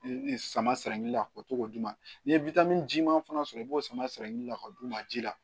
Samaradilila k'o to k'o d'u ma n'i ye jiman fana sɔrɔ i b'o sama ka d'u ma ji la